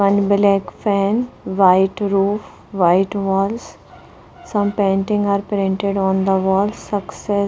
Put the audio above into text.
one black fan white roof white walls some painting are printed on the wall success --